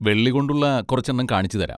വെള്ളികൊണ്ടുള്ള കുറച്ചെണ്ണം കാണിച്ചുതരാം.